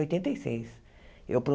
oitenta e seis Eu